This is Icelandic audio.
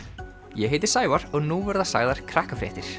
ég heiti Sævar og nú verða sagðar